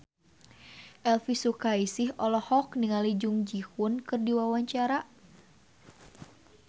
Elvy Sukaesih olohok ningali Jung Ji Hoon keur diwawancara